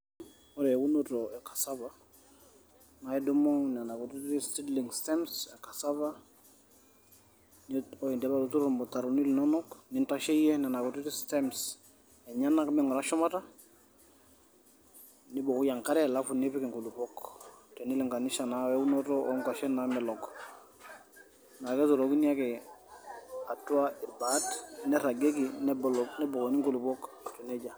Ore eunoto e cassava naa idumu nena kutitik seedling stems cassava nin ore indipa atuturo irmutaroni linonok nintasheyie nena kutitik stems enyenak ming`ura shumata ,nibukoki enkare alafu nipik inkulupuok ,tenilinganisha naa weunoto oonkwashen naamelok naa keturokini ake atua irbaat ,neiragieki nebol nebukokini nkulupuok aiko nejia.